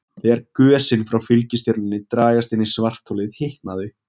Þegar gösin frá fylgistjörnunni dragast inn í svartholið hitna þau.